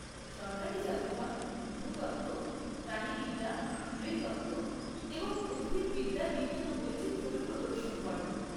সরকারি জাদুঘর ভূতত্ত্ব, প্রাণিবিদ্যা, নৃতত্ত্ব এবং উদ্ভিদবিদ্যার বিভিন্ন বৈচিত্র্যকে প্রদর্শন করে।